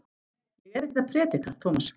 Ég er ekkert að predika, Tómas.